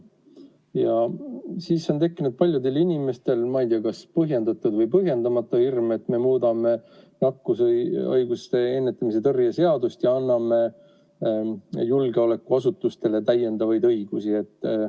Ja siis on tekkinud paljudel inimestel, ma ei tea, kas põhjendatud või põhjendamata hirm, et me muudame nakkushaiguste ennetamise ja tõrje seadust ja anname julgeolekuasutustele täiendavaid õigusi.